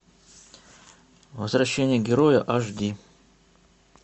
возвращение героя аш ди